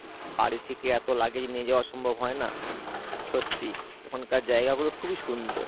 বাড়ি থেকে এত luggage নিয়ে যাওয়া সম্ভব হয় না, সত্যি ওখানকার জায়গা গুলো খুবই সুন্দর